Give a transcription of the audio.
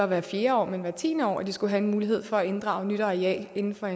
hvert fjerde år men hvert tiende år at de skal have en mulighed for at inddrage nyt areal inden for